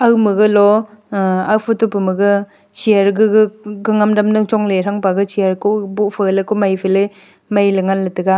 kao ma galo photo pama ga chair gaga gangham dam ning chong la tham pa ga chair ko gaga maila ngan le taga.